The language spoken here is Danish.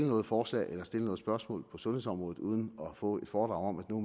noget forslag eller stille noget spørgsmål på sundhedsområdet uden at få et foredrag om at nu